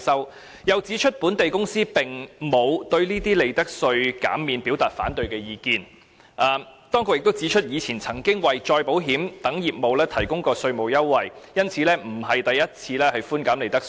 當局又指出，本地公司並沒有就寬減利得稅表達反對意見，而且過往亦曾為再保險等業務提供稅務優惠，所以這次並非首次寬減利得稅。